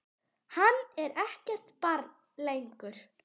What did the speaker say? Hann er ekkert barn lengur.